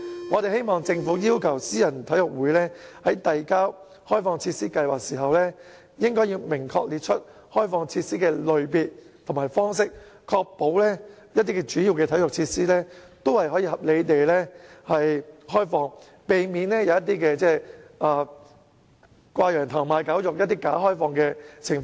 我希望政府要求私人體育會在遞交開放設施計劃時，明確列出開放設施的類別和方式，確保主要體育設施也可以合理地開放，避免出現"掛羊頭賣狗肉"的"假開放"情況。